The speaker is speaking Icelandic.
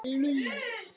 Má ekki vekja mömmu.